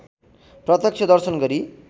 प्रत्यक्ष दर्शन गरी